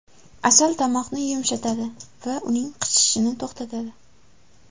Asal tomoqni yumshatadi va uning qichishishini to‘xtatadi.